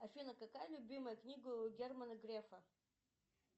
афина какая любимая книга у германа грефа